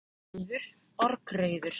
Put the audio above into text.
Oftast er reiður orgreiður.